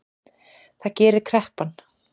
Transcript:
Það gerir kreppan